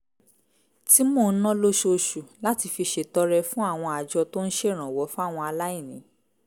tí mò ń ná lóṣooṣù láti fi ṣètọrẹ fún àwọn àjọ tó ń ṣèrànwọ́ fáwọn aláìní